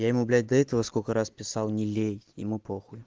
я ему блять до этого сколько раз писал не лей ему похуй